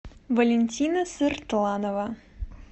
валентина сыртланова